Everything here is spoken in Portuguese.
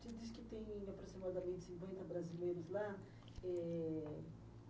Você disse que tem aproximadamente cinquenta brasileiros lá. Eh...